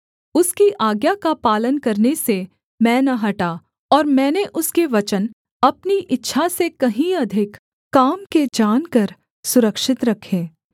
उसकी आज्ञा का पालन करने से मैं न हटा और मैंने उसके वचन अपनी इच्छा से कहीं अधिक काम के जानकर सुरक्षित रखे